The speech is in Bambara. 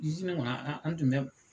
kɔnɔ an an tun bɛ